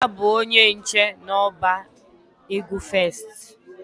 Nna ya bụ onye nche n'ọba ego First.